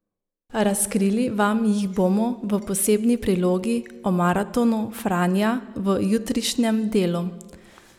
Razkrili vam jih bomo v posebni prilogi o maratonu Franja v jutrišnjem Delu.